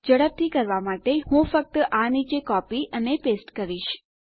ઝડપથી કરવા માટે હું ફક્ત આ નીચે કોપી અને પેસ્ટ કરીશ